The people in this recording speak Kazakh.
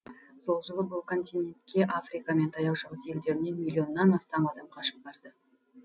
сол жылы бұл континентке африка мен таяу шығыс елдерінен миллионнан астам адам қашып барды